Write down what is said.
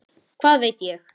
Hvað veit ég?